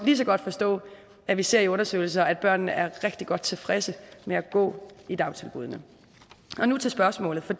lige så godt forstå at vi ser i undersøgelser at børnene er rigtig godt tilfredse med at gå i dagtilbuddene og nu til spørgsmålet for